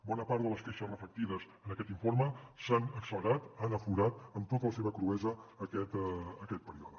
bona part de les queixes reflectides en aquest informe s’han accelerat han aflorat amb tota la seva cruesa aquest període